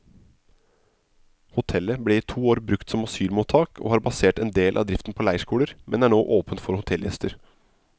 Hotellet ble i to år brukt som asylmottak og har basert en del av driften på leirskoler, men er nå åpent for hotellgjester.